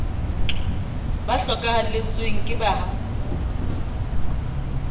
ba hlokahalletsweng ke bahatsa ba